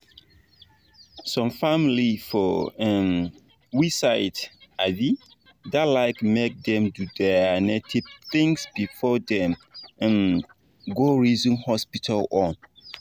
some family for um we side um da like make dem do their native things before them um go reason hospital own